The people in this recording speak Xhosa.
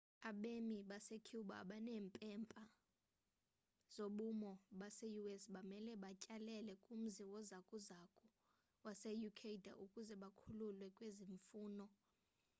abemi basecuba abaneempepha zobumi base-us bamele batyelele kumzi wozakuzo wase-ecuador ukuze bakhululwe kwezi mfuno